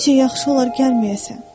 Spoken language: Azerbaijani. Bu gecə yaxşı olar gəlməyəsən.